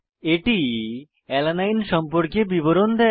এটি অ্যালানিন সম্পর্কিত বিবরণ দেয়